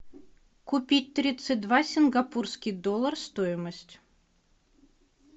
купить тридцать два сингапурский доллар стоимость